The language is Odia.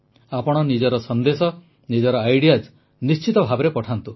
ଆପଣ ନିଜ ସନ୍ଦେଶ ନିଜର ଅନୁଭୂତି ନିଶ୍ଚିତ ଭାବେ ପଠାନ୍ତୁ